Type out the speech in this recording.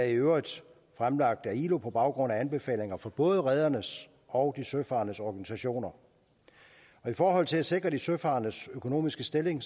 i øvrigt fremlagt af ilo på baggrund af anbefalinger fra både redernes og de søfarendes organisationer i forhold til at sikre de søfarendes økonomiske stilling